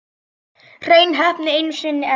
Hrein heppni einu sinni enn.